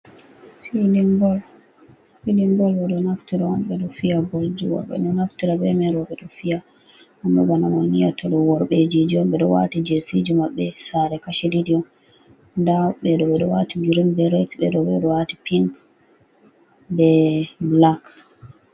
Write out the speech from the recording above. Filin bol. Filin bolɓe ɗo naftira on ɓe ɗo fiya bol ji worɓe ɗo naftira be mai rowɓe do fiya. Amma bana on yi'ata ɗo worɓejiji on ɓe ɗo wati jesiji maɓɓe sare kashi ɗiɗi on nda ɓe ɗo wati grin be ret ɓe ɗo bo ɗo wati ping be blak.